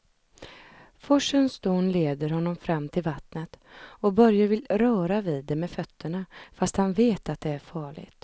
Forsens dån leder honom fram till vattnet och Börje vill röra vid det med fötterna, fast han vet att det är farligt.